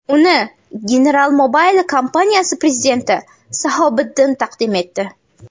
Uni General Mobile kompaniyasi prezidenti Sabohiddin taqdim etdi.